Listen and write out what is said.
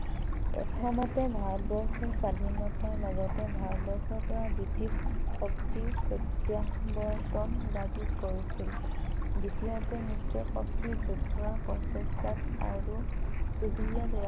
ভাৰতবৰ্ষৰ স্বাধীনতাৰ লগতে ভাৰতবৰ্ষৰ পৰা ব্ৰিটিছ শক্তিৰ প্ৰত্যাৱৰ্তন দাবী কৰিছিল । দ্বিতীয়তে মিত্ৰ শক্তিৰ যুদ্ধ প্ৰচেষ্টাত আৰু